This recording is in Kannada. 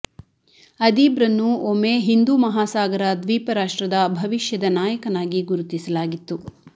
ಅದೀಬ್ರನ್ನು ಒಮ್ಮೆ ಹಿಂದೂ ಮಹಾ ಸಾಗರ ದ್ವೀಪ ರಾಷ್ಟ್ರದ ಭವಿಷ್ಯದ ನಾಯಕನಾಗಿ ಗುರುತಿಸಲಾಗಿತ್ತು